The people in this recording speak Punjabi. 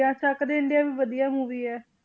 ~ਆ ਚੱਕ ਦੇ ਇੰਡੀਆ ਵੀ ਵਧੀਆ movie ਹੈ।